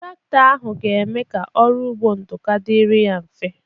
Traktọ ahụ ga-eme ka ọrụ ugbo Nduka dịrị ya mfe.